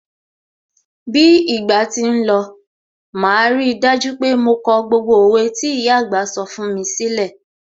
Bí ìgbà tí ń lọ, màá rí dájú pé mo kọ gbogbo òwe tí ìyà àgbà sọ fún mi sílẹ̀.